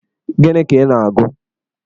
Gini ka ị na-agụ?